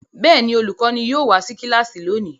Bẹ́ẹ̀ ni, olùkọ́ní yóò wá sí kíláàsì lónìí.